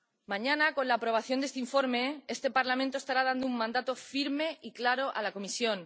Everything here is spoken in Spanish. Mañana, con la aprobación de este informe, este Parlamento estará dando un mandato firme y claro a la Comisión.